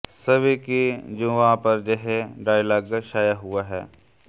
सभी की जुबां पर यह डायलॉग छाया हुआ है